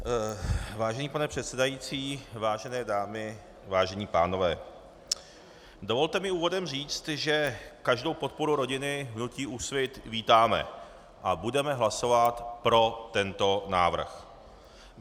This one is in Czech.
Vážený pane předsedající, vážené dámy, vážení pánové, dovolte mi úvodem říct, že každou podporu rodiny v hnutí Úsvit vítáme a budeme hlasovat pro tento návrh.